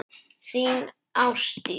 Þín, Ásdís.